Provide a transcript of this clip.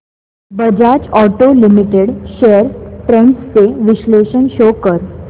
Bajaj auto limited shares trends चे विश्लेषण show कर